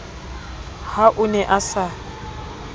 ha o ne a sa